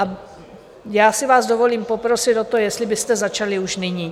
A já si vás dovolím poprosit o to, jestli byste začali už nyní.